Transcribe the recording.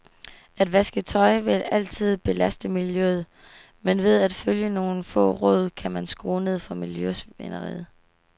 At vaske tøj vil altid belaste miljøet, men ved at følge nogle få råd kan man skrue ned for miljøsvineriet.